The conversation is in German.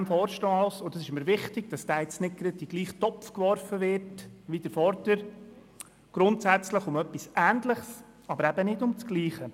Bei diesem Vorstoss – es ist mir wichtig, dass er nicht in denselben Topf geworfen wird wie der vorangehende – geht es grundsätzlich um etwas Ähnliches wie bei dem zuvor behandelten Vorstoss, aber nicht um dasselbe.